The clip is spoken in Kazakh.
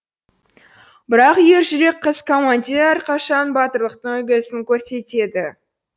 бірақ ержүрек қыз командир әрқашан батырлықтың үлгісін көрсетеді